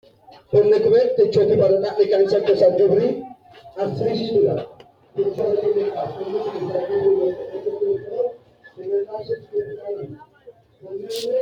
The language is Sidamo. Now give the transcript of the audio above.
tini maa xawissanno misileeti ? mulese noori maati ? hiissinannite ise ? tini kultannori hodhishu kaameelaati kuni kaameeli basetenni base soorrira dandiineemmohu.